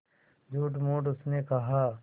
झूठमूठ उसने कहा